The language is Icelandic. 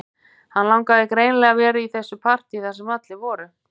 Hann langaði greinilega að vera í þessu partíi þar sem allir voru